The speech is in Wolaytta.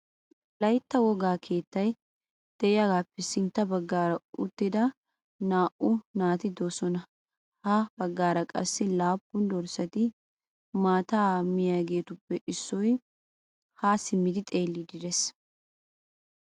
Wolaytta wogaa keettay de'iyagappe sintta baggaara uttida naa"u naati de'oosona. Ha bagaara qassi laappun dorssati maataa mmiyageetuppe issoy ha simmidi xeellidi de'ees.